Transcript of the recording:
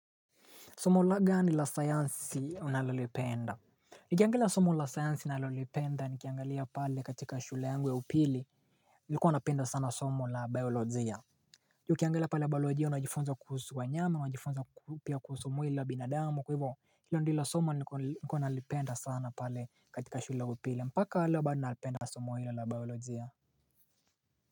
Somo la gani la sayansi nalolipenda Nikiangalia somo la sayansi nalolipenda nikiangalia pale katika shule yangu ya upili Nilikuwa napenda sana somo la biolojia Nikiangalia pale biolojia unajifunza kuhusu wanyama wajifunza pia kuhusu mwili wa binadamu kwahivo hilo ndio somo nilikuwa nalipenda sana pale katika shule upili mpaka leo bado nalipenda somo hili la biolojia.